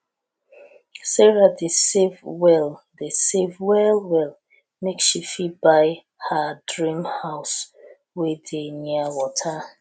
sarah dey save well dey save well well make she fit buy her dream house wey dey near wata